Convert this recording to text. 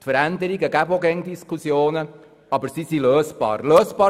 Veränderungen führen immer zu Diskussionen, aber die Probleme sind lösbar.